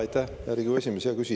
Aitäh, hea Riigikogu esimees!